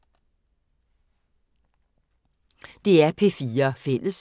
DR P4 Fælles